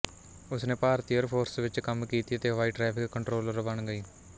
ਉਸਨੇ ਭਾਰਤੀ air force ਵਿੱਚ ਕੰਮ ਕੀਤੀ ਅਤੇ ਹਵਾਈ ਟ੍ਰੈਫਿਕ ਕੋਂਟਰੋਲਰ ਬਣ ਗਈ